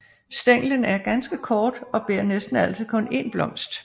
Stænglen er ganske kort og bærer næsten altid kun én blomst